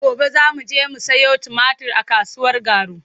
Gobe za mu je mu sayo tumatir a kasuwar Garu.